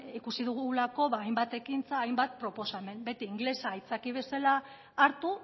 ikusi dugulako hainbat ekintza hainbat proposamen beti ingelesa aitzaki bezala hartu